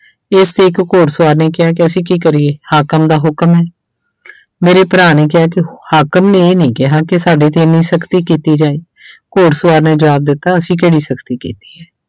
ਇਸ ਤੇ ਇੱਕ ਘੋੜ ਸਵਾਰ ਨੇ ਕਿਹਾ ਕਿ ਅਸੀਂ ਕੀ ਕਰੀਏ ਹਾਕਮ ਦਾ ਹੁਕਮ ਹੈ ਮੇਰੇ ਭਰਾ ਨੇ ਕਿਹਾ ਕਿ ਹਾਕਮ ਨੇ ਇਹ ਨੀ ਕਿਹਾ ਕਿ ਸਾਡੇ ਤੇ ਇੰਨੀ ਸਖ਼ਤੀ ਕੀਤੀ ਜਾਏ ਘੋੜ ਸਵਾਰ ਨੇ ਜ਼ਵਾਬ ਦਿੱਤਾ ਅਸੀਂ ਕਿਹੜੀ ਸਖ਼ਤੀ ਕੀਤੀ ਹੈ।